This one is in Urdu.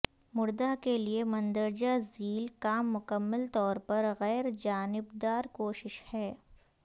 مردہ کے لئے مندرجہ ذیل کام مکمل طور پر غیر جانبدار کوشش ہے